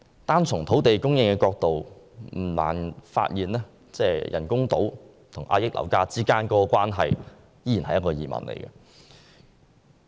單從土地供應的角度來看，不難發現人工島與遏抑樓價之間的關係依然是一個疑問。